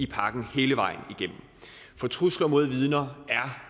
pakken hele vejen igennem trusler mod vidner er